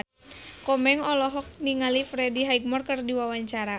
Komeng olohok ningali Freddie Highmore keur diwawancara